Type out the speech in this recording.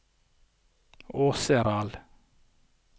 Åseral